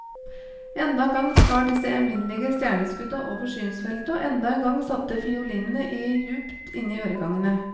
Enda en gang skar disse evinnelige stjerneskudda over synsfeltet, og enda en gang satte fiolinene i djupt inne i øregangene.